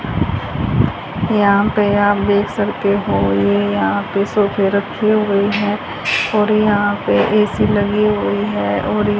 यहां पे आप देख सकते हो ये यहां पे सोफे रखे हुए हैं और यहां पे ए_सी लगी हुई है और--